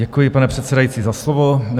Děkuji, pane předsedající, za slovo.